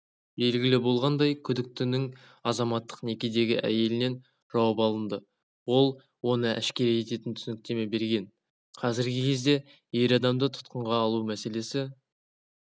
белгілі болғандай күдіктінің азаматтық некедегі әйелінен жауап алынды ол оны әшкере ететін түсініктеме берген қазіргі кезде ер адамды тұтқынға алу мәселесі